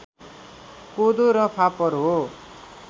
कोदो र फापर हो